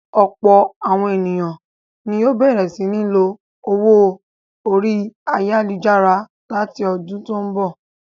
Ọ̀pọ̀ àwọn ènìyàn ni yóò bẹ̀rẹ̀ sí ní lo owó orí ayálujára láti ọdún tó ń bọ̀ lọ.